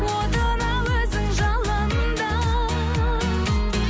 отына өзің жалында